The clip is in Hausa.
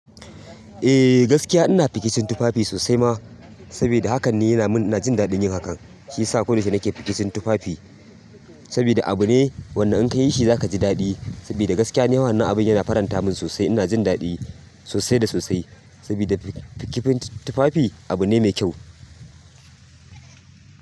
Eh gaskiya ina fikicin tufafi sosai ma, saboda hakan ne yana min ina jin daɗin yakan. Shi yasa ko yaushe nake fikicin tufafi saboda abu ne wanda in ka yi shi zaka ji daɗi. Saboda gaskiya ne wannan abin yana faranta min sosai. Ina jin daɗi sosai da sosai saboda fikin tufafi abu ne mai kyau.